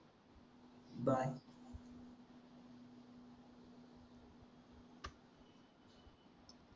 bye